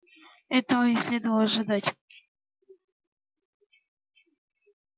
этого и следовало ожидать